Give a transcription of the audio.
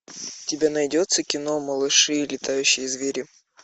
у тебя найдется кино малыши и летающие звери